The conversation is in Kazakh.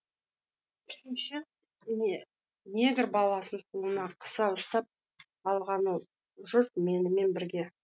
үшінші негр баласын қолына қыса ұстап алған ол жүр менімен бірге